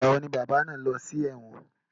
Ìgbà wo ni bàbá náà lọ sí ẹ̀wọ̀n?